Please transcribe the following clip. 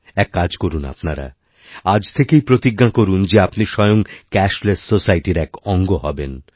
এক কাজ করুন আপনারা আজথেকেই প্রতিজ্ঞা করুন যে আপনি স্বয়ং ক্যাশলেস সোসাইটির এক অঙ্গ হবেন